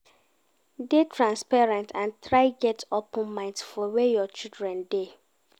Dey transparent and try get open mind for where your children dey